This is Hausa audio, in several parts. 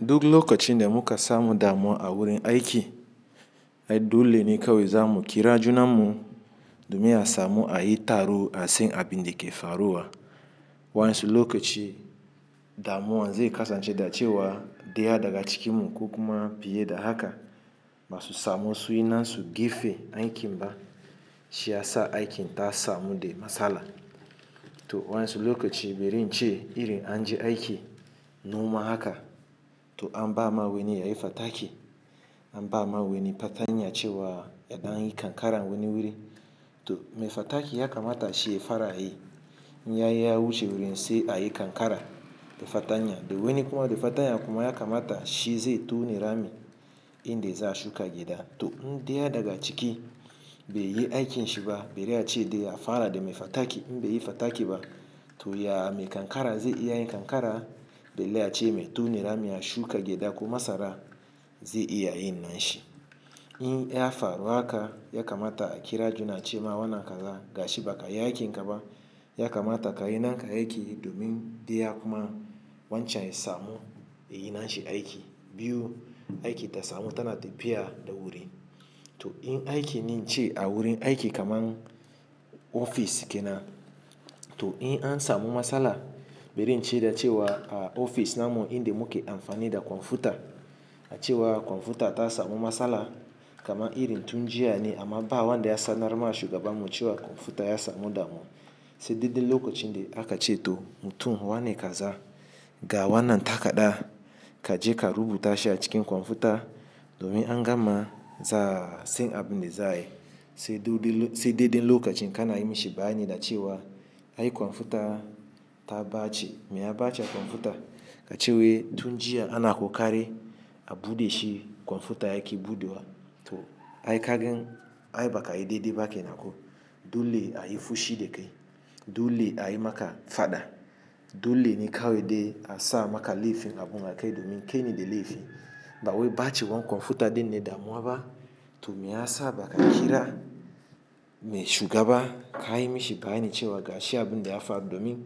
Duk lokacin da muka samu damuwa a wurin aiki, ai dole ne kawai zamu kira juna mu domin a samu ayi taro a san abinda ke faruwa. Wanƴansu lokacin damuwa zai kasance da cewa ɗaya daga cikinmu ko kuma fiye da haka basu samu sunyi nasu gefe aikin ba. Shiyasa aikin ta samu da matsala. To waƴansu lokacin, bari ince irin anje aikin noma haka, to an bama wani yayi fataki, an bama wani fatanya cewa ya ɗan yi kankara wani wuri. To mai fataki ya kamata shi ya fara yi, in yayi ya wuce wurin sai ayi kankara da fatanya. Da wani kuma da fatanya kuma ya kamata shi zai tona rami inda za'a shuka gyaɗa. To in ɗaya daga ciki bai yi aikin shiba, bare ace dai a fara da mai fataki. In baiyi fataki ba, to ya mai kankara zai iya yin kankara. Belle ace mai tona rami a shuka gyaɗa ko masara zai iya yin nashi. In ya faru haka, ya kamata a kira juna cema wannan kaza gashi bakayi aikin ka ba. Ya kamata kayi naka aiki domin diya kuma wancan ya samu yayi nashi aiki. Biyu, aiki ta samu tana tafiya da wuri. To in aiki ne ince a wurin aiki kamar ofis kenan, to in an samu matsala bari ince da cewa a ofis namu inda muke amfani da kwamfuta, a cewa kwamfuta ta samu matsala. Kama irin tun jiya ne amma ba wanda ya sanar ma shugabanmu cewa kwamfuta ya samu damuwa. Sai dai duk lokacin da akace to mutum wane kaza ga wannan takadda kaje ka rubuta shi a cikin kwamfuta domin an gama za, sai abinda za ayi. Sai dai, sai dai duk lokacin kana yi mishi bayani da cewa ai kwamfuta ta ɓace. Meya ɓace kwamfuta? Kace wai tun jiya ana ƙoƙari a bude shi kwamfuta yaki buɗewa. To ai kagan ai baka yi daidai ba kenan ko dole a yi fushi da kai, dole a yi maka fada, dole ne kawai dai a sa maka laifin abun a kai domin kaine da laifi. Ba wai ɓace wan kwamfuta dinne damuwa ba. To meyasa baka kira mai shugaba kayi mishi bayani cewa gashi abinda ya faru domin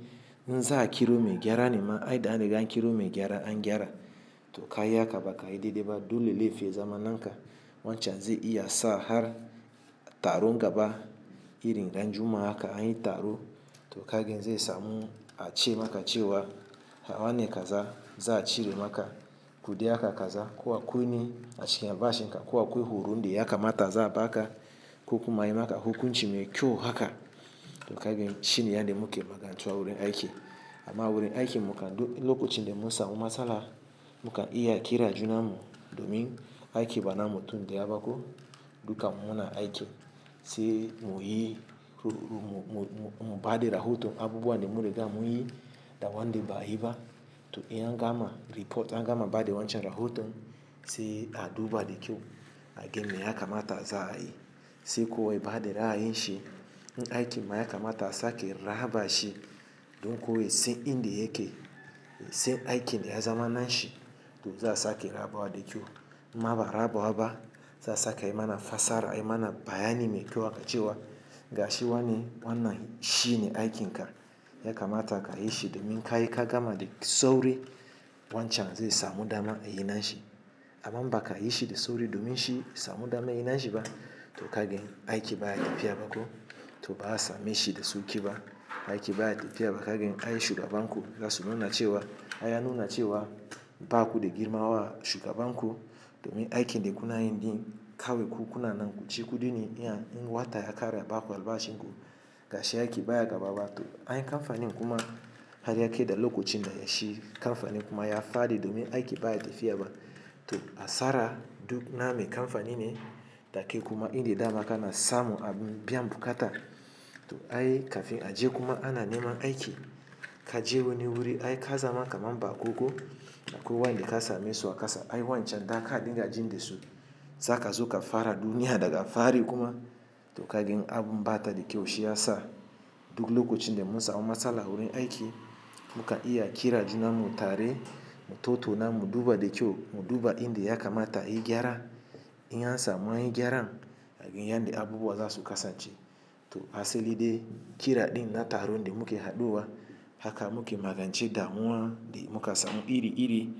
in za'a kira mai gyara ne ma ai da an riga an kiro mai gyara an gyara. To kayi haka ba ka yi daidai ba. Dole laifi ya zama nan ka wancan zai iya sa har taron gaba irin ran juma'a haka anyi taro. To ka gan zai samu a ce maka cewa, ha wannan kaza za a cire maka. Kuɗi haka kaza ko a kwuni a cikin albashin ka ko akwai horon da ya kamata za a ba ka ko kuma ayi maka hukunci mai kyau haka. To kagen shine inda muke magance wa wurin aiki. Amma wurin aiki mukan duk lokacin da mu samu matsala, mu kan iya kiran juna mu domin aiki ba na mutun daya ba ko. Dukamu muna aiki sai mu yi ru ru, mu ba da rahoton abubuwan da mun riga mun yi da wanda ba a yi ba. To in an gama report, in an gama bada wancan rahoton, sai a duba da kyau. A garlni me ya kamata za a yi. Sai kowa ya ba da ra'ayin shi. Dukamu muna aiki sai mu yi ru ru, mu ba da rahoto abubuwan da muke gamawa da wanda ba a yi ba. Dan kowa ya san in da yake, ya san aikin da ya zama na shi to za a sake raba wa da kyau. Maba raba wa ba za a saka ayi mana fassara, ayi mana bayani mai kyau akan cewa ga shi wannan shine aikin ka. Ya kamata ka yi shi domin ka yi ka gama da sauri wan can zai samu dama ayi na shi. Idan baka yi shi da sauri domin shi ya samu daman yi na shi ba. To kagen aiki baya tafiya ba ko, to ba a same shi da sauƙi ba. Aiki baya tafiya ba, kagen ai shugaban ku ya so nuna cewa, ya nuna cewa ba ku da girma wa shugaban ku. Domin aikin dai kuna yin din kawai ku kuna nan ku ci kuɗi ne. In wata ya ƙara ba ku albashi ko ga shi aiki baya gaba ba. To ai kamfanin kuma har ya kai da lokacin da ya shi kamfanin kuma ya faɗi domin aiki baya tafiya ba. To a sara duk name kamfanin ne take kuma inda dama kana samu a biyan bukata. To ai kafin a je kuma ana neman aiki, ka je wani wuri ai ka zama kaman baƙo ko akwai wanda ka same su a kasa. Ai wancan da aka dinga jin da su zaka zo ka fara duniya daga fari kuma. To kagen abun ɓata da kyau shi ya sa duk lokacin da mu samu matsala wurin aiki, mu ka iya kira juna mu tare, mu tauto na mu duba da kyau, mu duba inda ya kamata a yi gyara. In an samu gyaran, a gan yanda abubuwa zasu kasance to asali dai kira ɗin da taro da muke haduwa haka muke magance damuwa da muka samu iri iri.